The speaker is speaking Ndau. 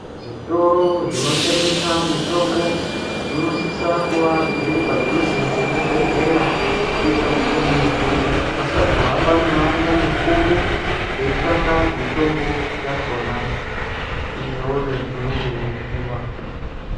Zvitoro zvinotengesa mitombo zvinosisa kuwa zviri padhuze ngezvibhehleya kuitira kuti muntu asazo hambe mimango mikuru eitsvake mitombo yakona iyoyo inenge yeidiwa.